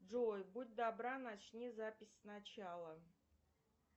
джой будь добра начни запись с начала